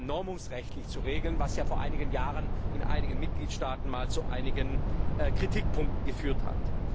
normungsrechtlich zu regeln, was vor einigen Jahren in einigen Mitgliedstaaten zu einigen Kritikpunkten geführt hat.